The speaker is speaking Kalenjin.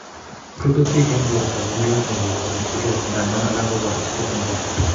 Rututik en borto ko ma lazima koik cheb seriat ngandan alak koboru seriat en borto